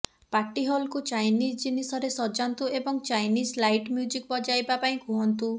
ପାର୍ଟିହଲ୍କୁ Chinese ଜିନିଷରେ ସଜାନ୍ତୁ ଏବଂ ଚାଇନିଜ୍ ଲାଇଟ୍ ମ୍ୟୁଜିକ୍ ବଜାଇବା ପାଇଁ କୁହନ୍ତୁ